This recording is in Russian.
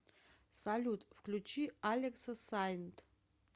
салют включи алекса сайнт